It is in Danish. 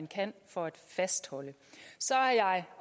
kan for at fastholde så er jeg